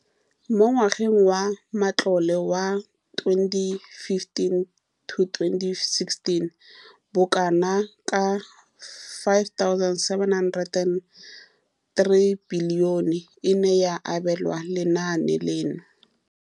Mo ngwageng wa matlole wa 2015,16, bokanaka R5 703 bilione e ne ya abelwa lenaane leno.